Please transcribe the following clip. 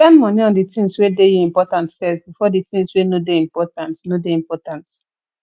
spend money on di things wey dey you important first before di things wey no dey important no dey important